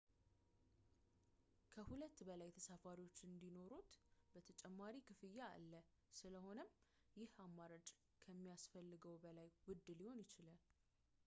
ከ 2 በላይ ተሳፋሪዎች እንዲኖሩዎት ተጨማሪ ክፍያ አለ ፣ ስለሆነም ይህ አማራጭ ከሚያስፈልገው በላይ ውድ ሊሆን ይችላል